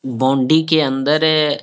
बॉन्डी के अंदर है।